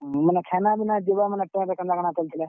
ମାନେ ଖାନାପିନା ଯିବା ମାନେ train ରେ କେନ୍ତା କେନ୍ତା ଚାଲିଥିଲା?